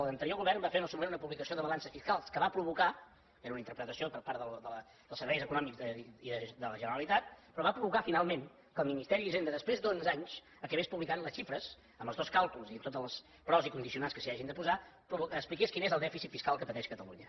l’anterior govern va fer en el seu moment una publicació de balances fiscals que va provocar era una interpretació per part dels serveis econòmics de la generalitat finalment que el ministeri d’hisenda després d’onze anys acabés publicant les xifres amb els dos càlculs i tots els pros i condicionants que s’hi hagin de posar expliqués quin és el dèficit fiscal que pateix catalunya